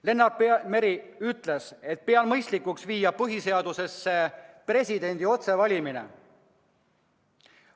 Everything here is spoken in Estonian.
" Lennart Meri ütles: "Pean mõistlikuks viia põhiseadusesse presidendi otsevalimine.